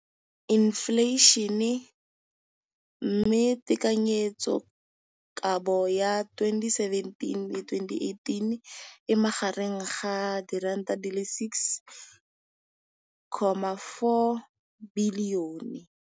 Infleišene, mme tekanyetsokabo ya 2017, 18, e magareng ga R6.4 bilione.